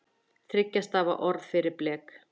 Þriggja stafa orð fyrir blek?